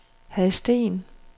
Hadsten